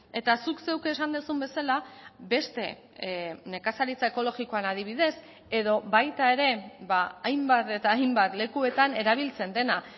eta zuk zeuk esan duzun bezala beste nekazaritza ekologikoan adibidez edo baita ere hainbat eta hainbat lekuetan erabiltzen dena